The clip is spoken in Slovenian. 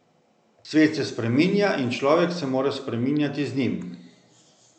Svet se spreminja in človek se mora spreminjati z njim.